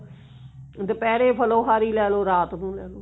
ਦੁਪਹਿਰੇ ਫ੍ਲੋਹਾਰੀ ਲੈਲੋ ਰਾਤ ਨੂੰ ਲੈਲੋ